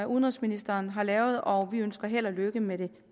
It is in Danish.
udenrigsministeren har lavet og vi ønsker held og lykke med det